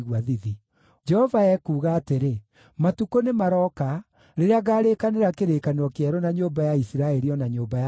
Jehova ekuuga atĩrĩ: “Matukũ nĩmarooka, rĩrĩa ngarĩkanĩra kĩrĩkanĩro kĩerũ na nyũmba ya Isiraeli, o na nyũmba ya Juda.